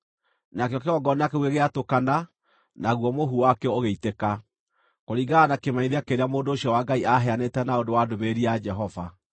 Nakĩo kĩgongona kĩu gĩgĩatũkana, naguo mũhu wakĩo ũgĩitĩka, kũringana na kĩmenyithia kĩrĩa mũndũ ũcio wa Ngai aheanĩte na ũndũ wa ndũmĩrĩri ya Jehova.